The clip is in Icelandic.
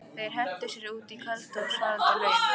Þeir hentu sér út í kalda og svalandi laugina.